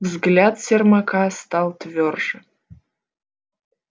взгляд сермака стал твёрже